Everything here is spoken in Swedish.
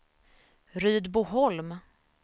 Rydboholm